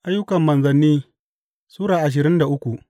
Ayyukan Manzanni Sura ashirin da uku